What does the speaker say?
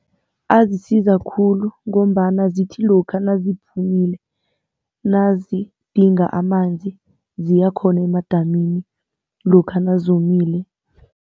Azisiza khulu ngombana zithi lokha naziphumileko nazidinga amanzi ziya khona emadamini lokha nazomileko.